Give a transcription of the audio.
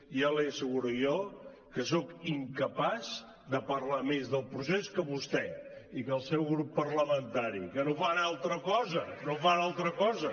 ja li asseguro jo que soc incapaç de parlar més del procés que vostè i que el seu grup parlamentari que no fan altra cosa que no fan altra cosa